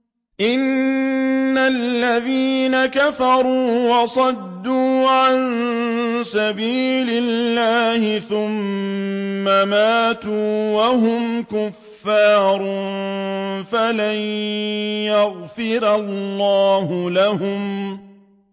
إِنَّ الَّذِينَ كَفَرُوا وَصَدُّوا عَن سَبِيلِ اللَّهِ ثُمَّ مَاتُوا وَهُمْ كُفَّارٌ فَلَن يَغْفِرَ اللَّهُ لَهُمْ